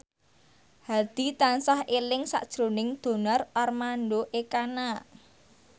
Hadi tansah eling sakjroning Donar Armando Ekana